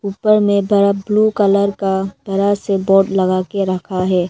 ऊपर में बड़ा ब्ल्यू कलर का बड़ा से बोर्ड लगा के रखा है।